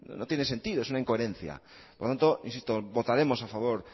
no tiene sentido es una incoherencia por lo tanto votaremos a favor